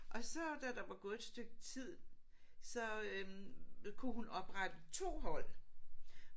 Og så da der var gået et stykke tid så øh kunne hun oprette 2 hold